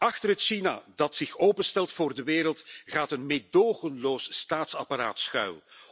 Achter het China dat zich openstelt voor de wereld gaat een meedogenloos staatsapparaat schuil.